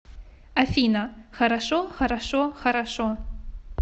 афина хорошо хорошо хорошо